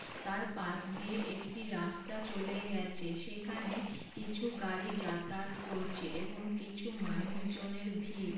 তার পাশ দিয়ে একটি রাস্তা চলে গেছে। সেখানে কিছু গাড়ি যাতায়াত করছে এবং কিছু মানুষ জনের ভিইড়।